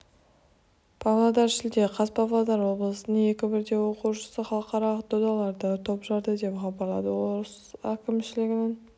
павлодар шілде қаз павлодар облысының екі бірдей оқушысы халықаралық додаларда топ жарды деп хабарлады облыс әкімшілігінің